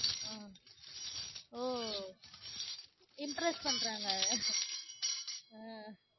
அஹ் ஓ impress பண்ணறாங்க உம்